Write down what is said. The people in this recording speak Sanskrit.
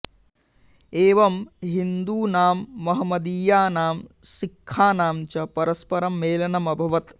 एवं हिन्दुनां महमदीयानां सिख्खानां च परस्परं मेलनम् अभवत्